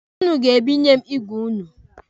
Ụnụ ga-ebinye m igwe ụnụ.